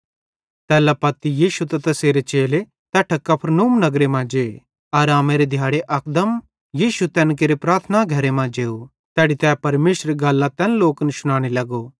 तैल्ला पत्ती यीशु त तैसेरे चेले तैट्ठां कफरनहूम नगरे मां जे आरामेरे दिहाड़े अकदम यीशु तैन केरे प्रार्थना घरे मां जेव तैड़ी तै परमेशरेरी गल्लां तैन लोकन शुनाने लगो